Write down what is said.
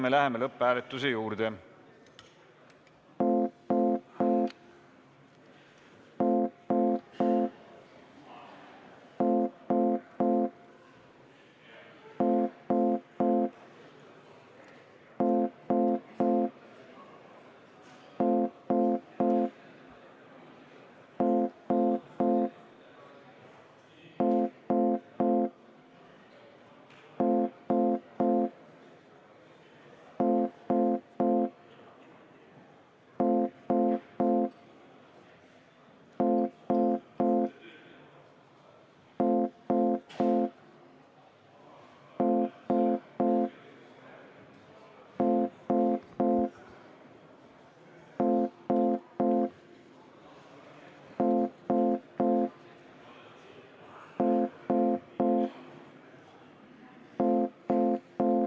Me läheme lõpphääletuse juurde.